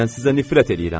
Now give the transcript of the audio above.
Mən sizə nifrət eləyirəm.